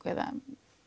eða